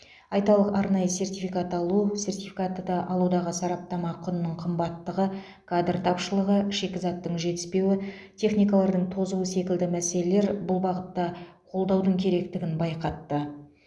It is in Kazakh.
айталық арнайы сертификат алу сертификаты да алудағы сараптама құнының қымбаттығы кадр тапышылығы шикізаттың жетіспеуі техникалардың тозуы секілді мәселелер бұл бағытта қолдаудың керектігін байқатты